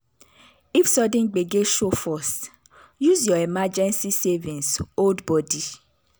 if sudden gbege show first use your emergency savings hold body.